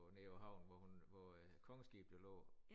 Nede på havn hvor hun hvor øh kongeskib det lå